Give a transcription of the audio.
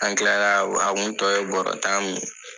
An kila la a kun tɔ ye bɔrɔ tan min ye.